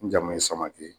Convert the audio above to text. N jamu ye samakɛ ye